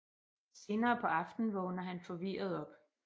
Senere på aftenen vågner han forvirret op